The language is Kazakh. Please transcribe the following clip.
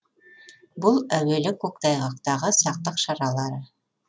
бұл әуелі көктайғақтағы сақтық шаралары